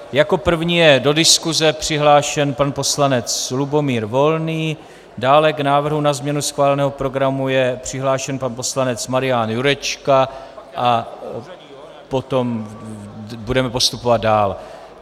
Jako první je do diskuse přihlášen pan poslanec Lubomír Volný, dále k návrhu na změnu schváleného programu je přihlášen pan poslanec Marian Jurečka a potom budeme postupovat dál.